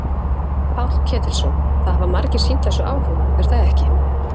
Páll Ketilsson: Það hafa margir sýnt þessu áhuga er það ekki?